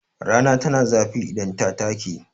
Rana tana zafi idan ta take.